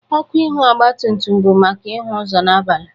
Ọkụ ihụ ogbatumtum bụ maka ihụ ụzo n'abalị.